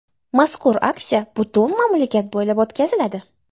Mazkur aksiya butun mamlakat bo‘ylab o‘tkaziladi.